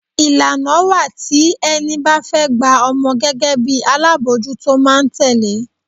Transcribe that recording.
Ìlànà wá tí ẹni bá fẹ́ gba ọmọ gẹ́gẹ́ bí alábòójútó máa tẹle.